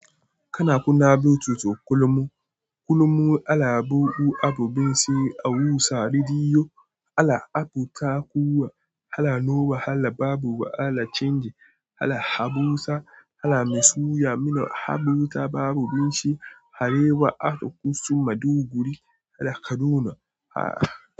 Kana kuna abincin kullum. Kullum ala babu abubuwan siyo a wusa, rediyo, ala abu takuwa, hala nawa hala babu ala canji, hala Habusa, hala Masoya, mino Habusa babu binshi, Arewa, Afikusu, Maduguri, hala Kaduna, hala.